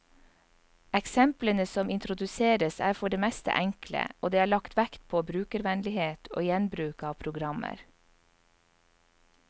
Eksemplene som introduseres, er for det meste enkle, og det er lagt vekt på brukervennlighet og gjenbruk av programmer.